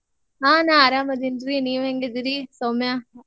ಹಾ ನಾ ಅರಾಮದಿನ್ರಿ ನೀವ್ ಹೇಂಗಿದಿರಿ ಸೌಮ್ಯ?